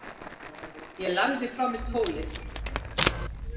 Ég lagði frá mér tólið.